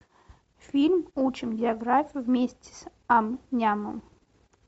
фильм учим географию вместе с ам нямом